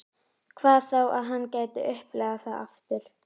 Hvað þá að hann gæti upplifað það aftur.